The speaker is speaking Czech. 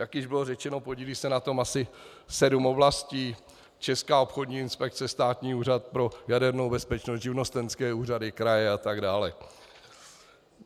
Jak již bylo řečeno, podílí se na tom asi sedm oblastí, Česká obchodní inspekce, Státní úřad pro jadernou bezpečnost, živnostenské úřady, kraje a tak dále.